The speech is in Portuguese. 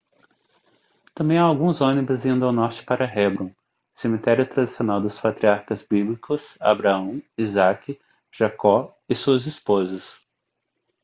também há alguns ônibus indo ao norte para hebrom cemitério tradicional dos patriarcas bíblicos abraão isaque jacó e suas esposas